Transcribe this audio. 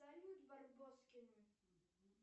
салют барбоскины